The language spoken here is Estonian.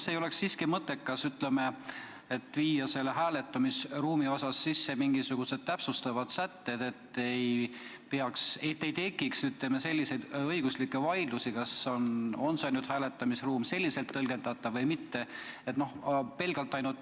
Kas ei oleks siiski mõttekas viia hääletamisruumi osas sisse mingisugused täpsustavad sätted, et ei tekiks selliseid õiguslikke vaidlusi, et kas hääletamisruum on ikka selliselt tõlgendatav või mitte?